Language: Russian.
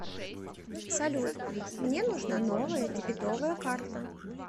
салют мне нужна новая дебетовая карта